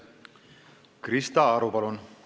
Krista Aru, palun!